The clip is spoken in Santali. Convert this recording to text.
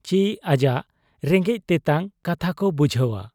ᱪᱤ ᱟᱡᱟᱜ ᱨᱮᱸᱜᱮᱡ ᱛᱮᱛᱟᱝ ᱠᱟᱛᱷᱟᱠᱚ ᱵᱩᱡᱷᱟᱹᱣ ᱟ ?